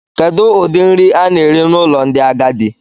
Kedu ụdị nri a na-eri n'ụlọ ndị agadi?